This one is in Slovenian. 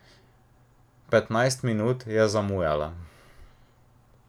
Petnajst minut je zamujala.